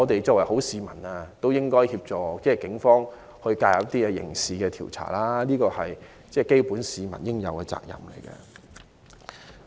作為好市民，我們也應協助警方進行刑事調查，是大家應有的基本責任。